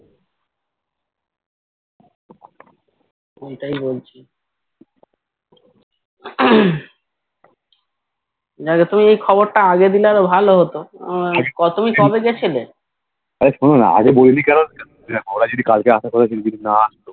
ঐটাই বলছি তুই এই খবরটা আগে দিলে ভালো হতো কি তুুমি কবে গিয়েছিলি